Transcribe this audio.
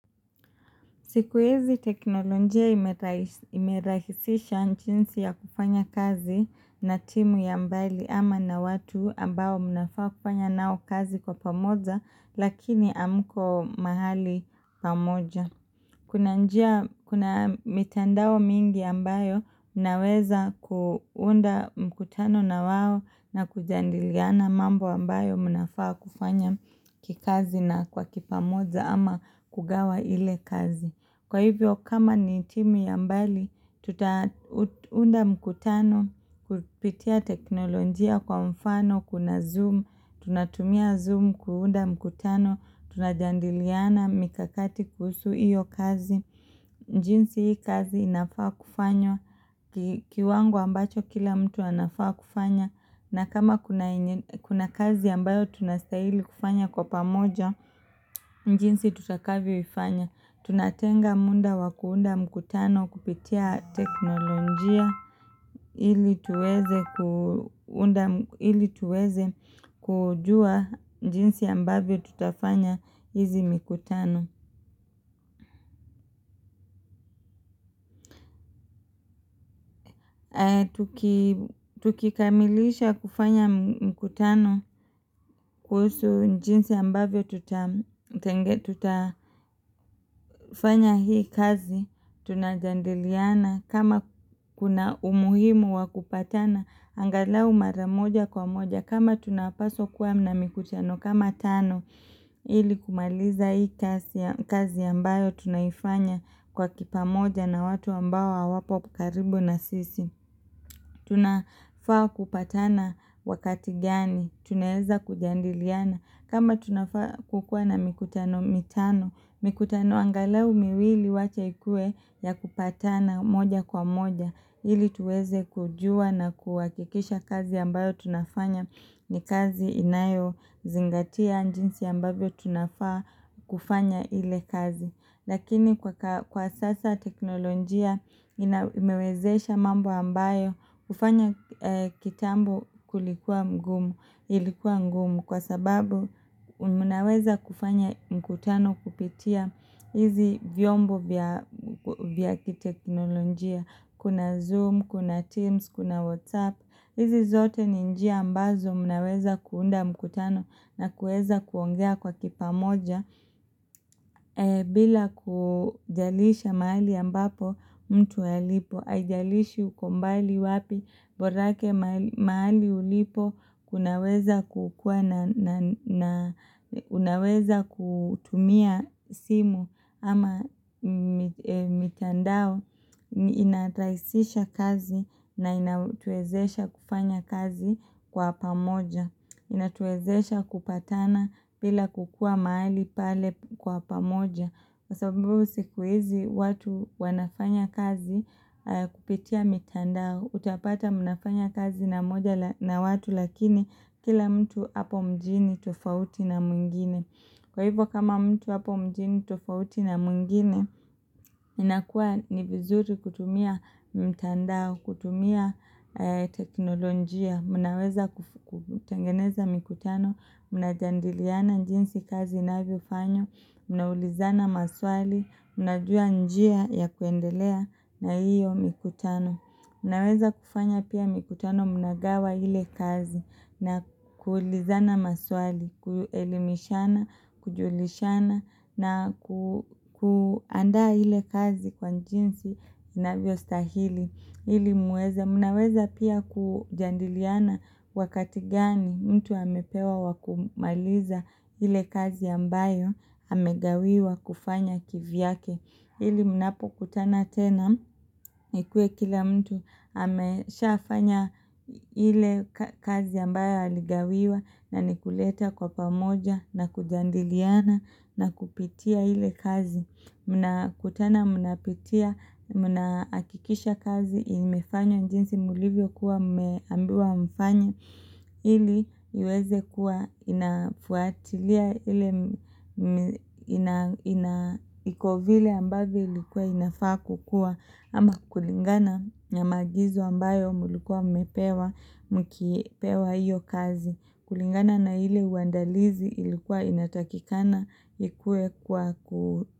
Siku hizi teknolojia imerahisisha jinsi ya kufanya kazi na timu ya mbali ama na watu ambao mnafaa kufanya nao kazi kwa pamoja lakini hamko mahali pamoja. Kuna mitandao mingi ambayo naweza kuunda mkutano na wao na kujadiliana mambo ambayo mnafaa kufanya kikazi na kwa kipamoja ama kugawa ile kazi. Kwa hivyo kama ni timu ya mbali, tutaunda mkutano kupitia teknolojia kwa mfano kuna zoom tunatumia zoom kuunda mkutano tunajadiliana mikakati kuhusu iyo kazi. Jinsi hii kazi inafaa kufanywa kiwango ambacho kila mtu anafaa kufanya na kama kuna kazi ambayo tunastahili kufanya kwa pamoja jinsi tutakavyo ifanya. Tunatenga muda wa kuunda mkutano kupitia teknolojia ili tuweze kujua jinsi ambavyo tutafanya hizi mikutano. Tukikamilisha kufanya mkutano kuhusu jinsi ambavyo tutafanya hii kazi. Tunajadiliana kama kuna umuhimu wa kupatana angalau mara moja kwa moja kama tunapaswa kuwa na mikutano kama tano ili kumaliza hii kazi ambayo tunaifanya kwa kipamoja na watu ambao hawapo karibu na sisi. Tunafaa kupatana wakati gani tunaweza kujadiliana. Kama tunafaa kukua na mikutano mitano mikutano angalau miwili wache ikue ya kupatana moja kwa moja ili tuweze kujua na kuhakikisha kazi ambayo tunafanya ni kazi inayo zingatia jinsi ambavyo tunafaa kufanya ile kazi. Lakini kwa sasa teknolojia imewezesha mambo ambayo kufanya kitambo kulikuwa mgumu. Ilikuwa ngumu kwa sababu mnaweza kufanya mkutano kupitia hizi vyombo vya kiteknolojia. Kuna Zoom, kuna Teams, kuna WhatsApp. Hizi zote ni nji ambazo mnaweza kuunda mkutano na kuweza kuongea kwa kipamoja bila kujalisha mahali ambapo mtu halipo. Haijalishi uko mbali wapi borake mahali ulipo kunaweza kutumia simu ama mitandao inarahisisha kazi na inatuwezesha kufanya kazi kwa pamoja. Inatuwezesha kupatana bila kukua mahali pale kwa pamoja. Kwa sababu siku hizi watu wanafanya kazi kupitia mitandao utapata mnafanya kazi na mmoja la na watu lakini kila mtu hapo mjini tufauti na mwingine. Kwa hivyo kama mtu apo mjini tofauti na mwingine inakuwa ni vizuri kutumia mtandao kutumia teknolojia. Mnaweza kutengeneza mikutano, mnajadiliana jinsi kazi inavyo fanywa mnaulizana maswali mnajua njia ya kuendelea na hiyo mikutano. Mnaweza kufanya pia mikutano mnagawa ile kazi na kuulizana maswali kuelimishana kujulishana na kuandaa ile kazi kwa jinsi inavyo stahili. Ili muweze. Mnaweza pia kujadiliana wakati gani mtu amepewa wa kumaliza ile kazi ambayo amegawiwa kufanya kivyake. Ili mnapo kutana tena ikuwe kila mtu amesha fanya ile kazi ambayo aligawiwa na ni kuleta kwa pamoja na kujadiliana na kupitia ile kazi. Mna kutana mnapitia mna hakikisha kazi imefanywa jiinsi mlivyo kuwa mmeambiwa mfanye ili iweze kuwa inafuatilia ile ina iko vile ambavyo ilikuwa inafaa kukua ama kulingana na maagizo ambayo mlikuwa mmepewa mkipewa hiyo kazi kulingana na ile uandalizi ilikuwa inatakikana ikue kwa ku.